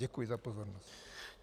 Děkuji za pozornost.